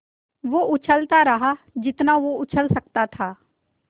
वो उछलता रहा जितना वो उछल सकता था